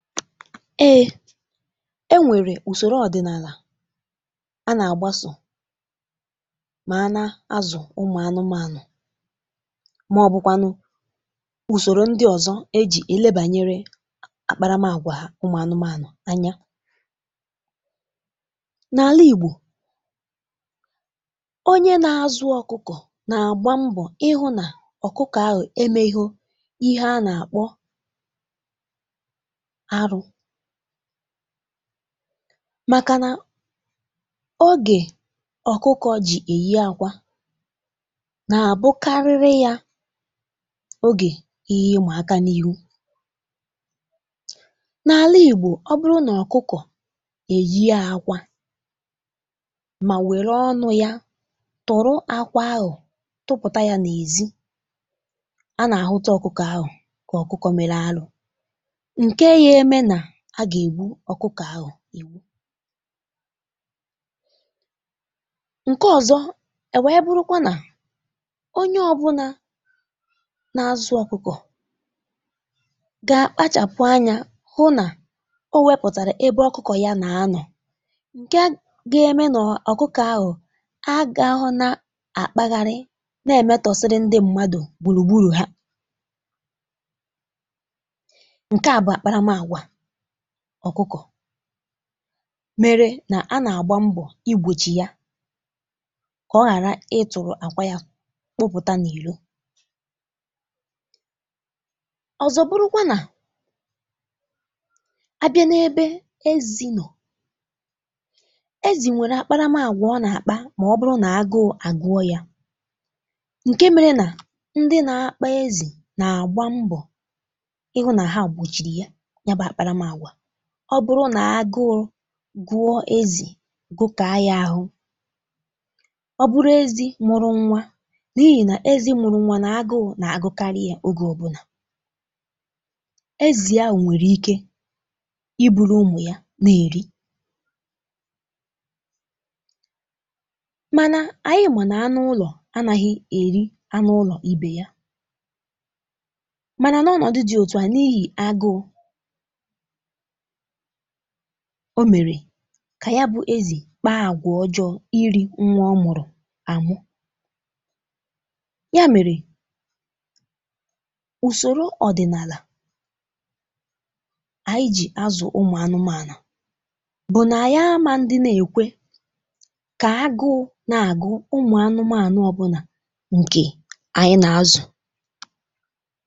Ē ē nwèrè ùsòrò ọ̀dị̀nàlà a nà-àgbasò mà a nà-azụ̀ ụmụ̀ anụmȧnụ̀, màọ̀bụ̀kwanụ ùsòrò ndị ọ̀zọ e jì e lebànyere àkparamàgwà ụmụ̀ anụmȧnụ̀ anya, n’àla Ìgbò onye nà-azụ ọ̀kụkọ̀ nà-àgba mbọ̀ hụ̇ nà ọ̀kụkọ̀ ahụ̀ emēhụ ihe a nà-àkpọ arụ̇, màkà nà ogè ọ̀kụkọ̇ jì èyi àkwà nà-àbụkarịrị yà ogè ihe ịma aka n’ihu, n’àla Ìgbò ọ bụrụ nà ọ̀kụkọ̀ èyìe àkwà mà nwèrè ọnụ̇ yà turu àkwà ahụ̀ tupùta yà n’èzí, a nà-àhụ̀ ọ̀kụkọ̇ ahụ̀ kà ọ̀kụkọ̀ mèrè arụ̇ ǹkè nà a gà-ègbu ọ̀kụkọ̀ ahụ̀ ìwu ǹkè ọ̀zọ e wèe bụrụkwa nà onye ọ̀bụ̀nà na-azụ̀ ọ̀kụkọ̀ gà-akpachàpụ̀ anya hụ nà o wepụ̀tàrà ebe ọ̀kụkọ̀ yà nà-anọ̀ ǹkè gà-eme nọ̀ ọ̀kụkọ̀ ahụ̀ a gà-ahụ̀ na-àkpagharị na-èmetọsịrị ndị mmadụ̀ gbùrùgbùrù hȧ, nke a bụ̀ àkparamàgwà ọ̀kụkọ̀ mèrè nà a nà-àgba mbọ̀ igbòchì yà kà ọ ghàra ịtụ̀rụ̀ àkwà yà kpụpụ̀tà n’ìrò ọ̀zọ̀ bụ̀rụ̀kwa nà, abịa na ebe èzì nọ̀ọ, èzì nwè àkparamàgwà ọnà àkpa mà ọ̀bụ̀rụ̀ nà agụ̇ agụ̀ọ ya ǹkè mèrè nà ndị na-akpa èzì nà-àgba mbọ̀ hụ̇ nà hȧ gbochìrị yà, yà bụ̀ àkparamàgwà nà ọ̀bụ̀rụ̀ nà agụ̇ gụ̀ọ èzì, gùtèe yà ahụ̀, ọ̀bụ̀rụ̀ èzì mụ̀rụ̀ nwa n’ìhì nà èzì mụ̀rụ̀ nwa nà agụụ̇ nà-àgụkarị yà ogè ọbụ̀nà. Èzì ahụ̀ nwèrè ike í buru umù yà nà èri mànà ànyị mà nà anụ ụlọ̀ anàghị̇ èri anụ ụlọ̀ íbè yà, mànà nà ọnọ̀dụ dị̇ òtù a n’ìhì agụụ̇ ò mèrè kà yà bụ̇ èzì kpàà àgwà ọ̀jọọ̇ ịrị nwa ọmụ̀rụ̀ àmụ ya mèrè ùsòrò ọ̀dị̀nàlà ànyị jì àzụ̀ ụmụ̀ anụmȧnụ̀ bụ̀ nà ànyị àmȧ ndị na-èkwe kà agụụ nà-àgụ ụmụ̀ anụmȧnụ̀ ọbụ̀nà ǹkè ànyị nà-azụ̀.